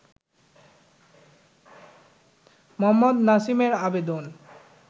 মোহাম্মদ নাসিমের আবেদন